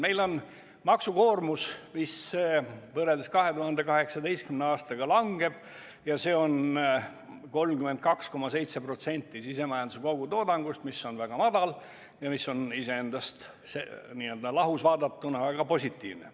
Meil on maksukoormus, mis võrreldes 2018. aastaga langeb, see on 32,7% sisemajanduse kogutoodangust, mis on väga madal ja mis on iseendast, n-ö lahus vaadatuna väga positiivne.